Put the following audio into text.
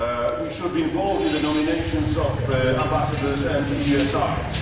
We should be involved in the nominations of ambassadors and EUSRs.